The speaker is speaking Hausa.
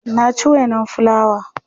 na ci wainan fulawa